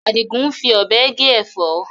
Adigun ń fi Ọ̀bẹ gé Ẹ̀fọ́